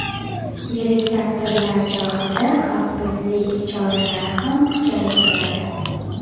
Yirik tadbirlar chog‘ida xavfsizlik choralari ham kuchaytiriladi.